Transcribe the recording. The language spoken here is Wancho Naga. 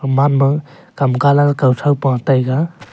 gaman ma kam colour kautho pa taiga.